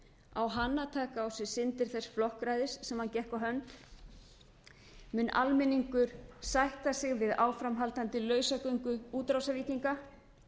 á hann að taka á sig syndir þess flokksræðis sem hann gekk á hönd mun almenningur sætta sig við áframhaldandi lausagöngu útrásarvíkinga